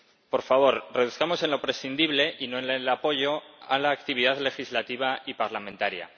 Por favor, reduzcamos en lo prescindible y no en el apoyo a la actividad legislativa y parlamentaria.